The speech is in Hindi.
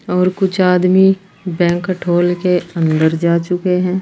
और कुछ आदमी बैंकेट हॉल के अंदर जा चुके हैं।